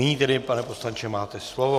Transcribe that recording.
Nyní tedy, pane poslanče, máte slovo.